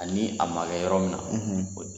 A ni a ma kɛ yɔrɔ min na, o